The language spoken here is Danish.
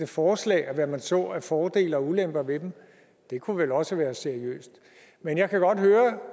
forslag og hvad man så af fordele og ulemper ved dem det kunne vel også være seriøst men jeg kan godt høre